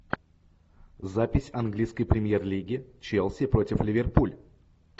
запись английской премьер лиги челси против ливерпуль